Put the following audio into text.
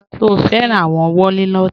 Ṣẹ̀ o fẹ́ran awọn wòlínotí?